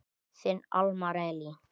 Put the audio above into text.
Þinn Elmar Elí.